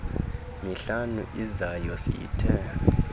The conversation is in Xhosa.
mihlanu izayo siyithe